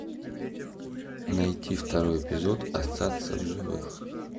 найти второй эпизод остаться в живых